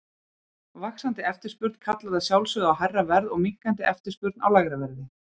Vaxandi eftirspurn kallar að sjálfsögðu á hærra verð og minnkandi eftirspurn á lægra verð.